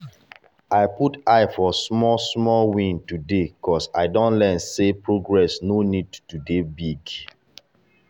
i put eye for small small win today ‘cause i don learn sey progress no need to dey big.